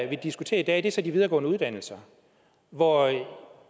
vi diskuterer i dag er så de videregående uddannelser hvor